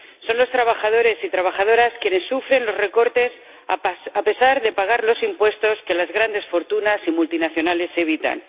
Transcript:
Son los trabajadores y trabajadoras quienes sufren los recortes, a pesar de pagar los impuestos que las grandes fortunas y multinacionales evitan.